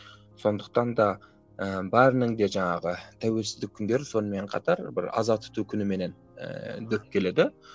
сондықтан да ііі бәрінің де жаңағы тәуелсіздік күндері сонымен қатар бір аза тұту күніменен ііі дөп келеді